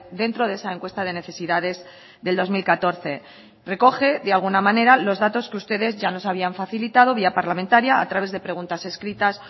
dentro de esa encuesta de necesidades del dos mil catorce recoge de alguna manera los datos que ustedes ya nos habían facilitado vía parlamentaria a través de preguntas escritas